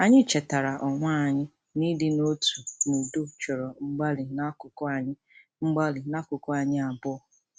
Anyị chetaara onwe anyị na ịdị n'otu n'udo chọrọ mgbalị n'akụkụ anyi mgbalị n'akụkụ anyi abụọ.